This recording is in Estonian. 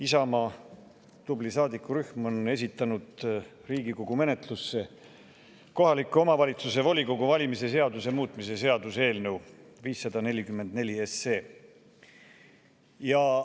Isamaa tubli saadikurühm on esitanud Riigikogu menetlusse kohaliku omavalitsuse volikogu valimise seaduse muutmise seaduse eelnõu 544.